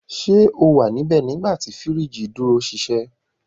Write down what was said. Ṣe o wa nibẹ nigbati firiji duro ṣiṣẹ?